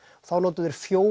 þá notuðu þeir fjóra